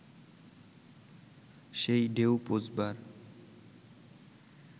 সেই ঢেউ পৌঁছবার